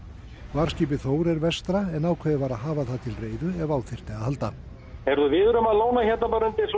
varðskipið Þór er vestra en ákveðið var að hafa það til reiðu ef á þyrfti að halda heyrðu við erum að lóna hérna